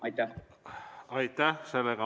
Aitäh!